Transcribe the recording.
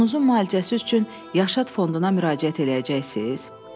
Oğlunuzu müalicəsi üçün Yaşad fonduna müraciət eləyəcəksiz?